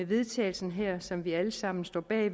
vedtagelse her som vi alle sammen står bag